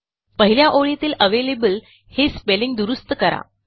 पहिल्या ओळीतीलavalable हे स्पेलिंग दुरूस्त करा